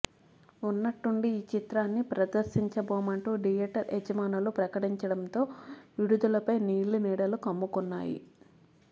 ఉన్నట్టుండి ఈ చిత్రాన్ని ప్రదర్శించబోమంటూ థియేటర్ యజమానులు ప్రకటించడంతో విడుదలపై నీలినీడలు కమ్ముకున్నాయి